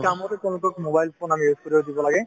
কামতে তেওঁলোকক mobile phone আমি use কৰিব দিব লাগে